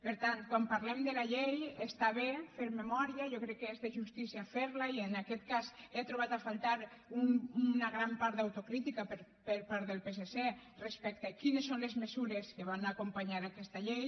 per tant quan parlem de la llei està bé fer memòria jo crec que és de justícia ferne i en aquest cas he trobat a faltar una gran part d’autocrítica per part del psc respecte a quines són les mesures que van acompanyar aquesta llei